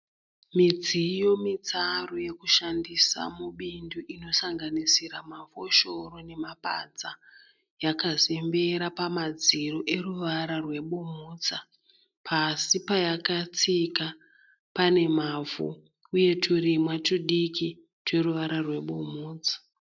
Midziyo mitsaru yekushandisa mubindu inosanganisira mafoshoro mapadza yakazembera pamadziro eruvara rwebumhudza pasi payakatsika pane mavhu uye turimwa tudiki tweruvara rwebumhudza.